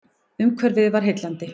Umhverfið var heillandi.